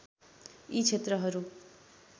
यी क्षेत्रहरू